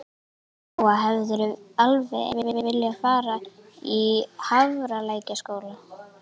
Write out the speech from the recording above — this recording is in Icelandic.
Lóa: Hefðirðu alveg eins viljað fara í Hafralækjarskóla?